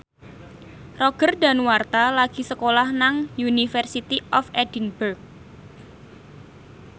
Roger Danuarta lagi sekolah nang University of Edinburgh